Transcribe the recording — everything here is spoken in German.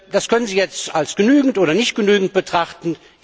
Das können Sie jetzt als genügend oder als nicht genügend betrachten.